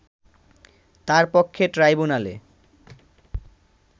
তার পক্ষে ট্রাইব্যুনালে